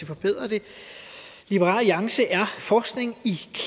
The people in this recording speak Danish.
forbedre det forskning i